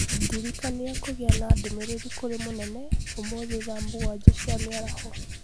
ndirikania kũgĩa na ndũmĩrĩri kũrĩ mũnene ũmũthĩ thaa mũgwanja cia mĩaraho